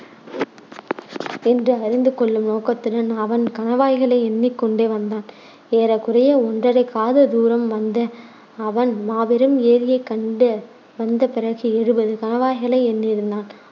என்று அறிந்து கொள்ளும் நோக்கத்துடன் அவன் கணவாய்களை எண்ணிக் கொண்டே வந்தான். ஏறக்குறைய ஒன்றரைக் காத தூரம் வந்த அவன் மாபெரும் ஏரியை கண்டு வந்த பிறகு எழுபது கணவாய்களை எண்ணியிருந்தான்.